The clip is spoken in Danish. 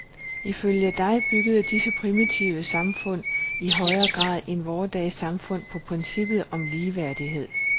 Ifølge dig byggede disse primitive samfund i højere grad end vore dages samfund på princippet om ligeværdighed.